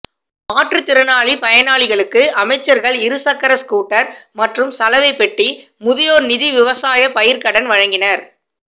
மாற்று திறனாலி பயனாளிகளுக்கு அமைச்சர்கள் இருசக்ர ஸ்கூட்டர் மற்றும் சலவை பெட்டி முதியோர் நிதி விவசாய பயிர்கடன் வழங்கினர்